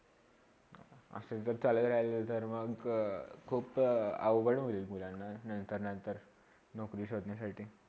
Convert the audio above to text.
असे जर चालले राहिलातर मग खूप अवघड होईल मुलांना नंतर -नंतर नोकरी शोधण्यासाठी.